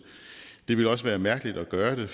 det ville også være mærkeligt at gøre det